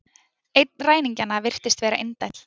Einn ræningjanna virtist vera indæll